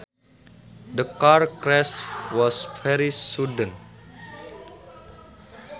The car crash was very sudden